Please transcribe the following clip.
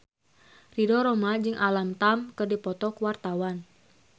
Ridho Roma jeung Alam Tam keur dipoto ku wartawan